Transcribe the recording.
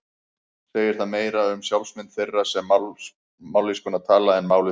Segir það meira um sjálfsmynd þeirra sem mállýskuna tala en málið sjálft.